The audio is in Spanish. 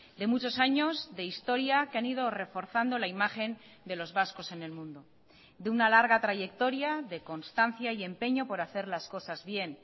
de muchos años de historia que han ido reforzando la imagen de los vascos en el mundo de una larga trayectoria de constancia y empeño por hacer las cosas bien